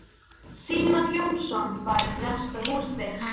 Símon Jónasson var í næsta húsi.